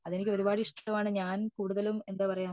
അതെനിക്ക് ഒരുപാട് ഇഷ്ടമാണ് ഞാൻ കൂടുതലും എന്താ പറയാ